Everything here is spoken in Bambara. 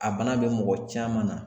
A bana bɛ mɔgɔ caman na